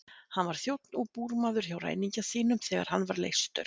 Hann var þjónn og búrmaður hjá ræningja sínum þegar hann var leystur.